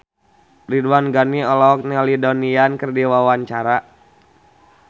Ridwan Ghani olohok ningali Donnie Yan keur diwawancara